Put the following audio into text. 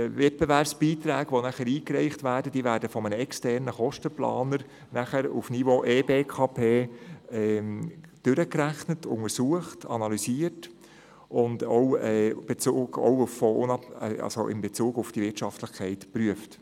Die Wettbewerbsbeiträge, die dann eingereicht werden, werden von einem externen Kostenplaner auf Niveau eBKP-H durchgerechnet, untersucht und analysiert und auch hinsichtlich der Wirtschaftlichkeit geprüft.